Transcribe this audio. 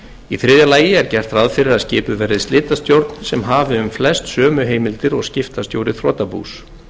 í þriðja lagi er gert ráð fyrir að skipuð verð slitastjórn sem hafi um flest sömu heimildir og skiptastjóri þrotabús